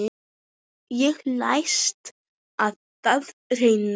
Ég læt á það reyna.